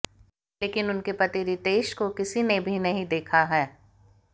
लेकिन उनके पति रितेश को किसी ने भी नहीं देखा है